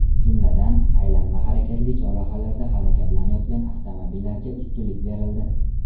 Jumladan, aylanma harakatli chorrahalarda harakatlanayotgan avtomobillarga ustunlik berildi.